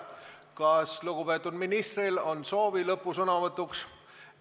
Kas lugupeetud ministril on soovi lõpusõnavõtuks?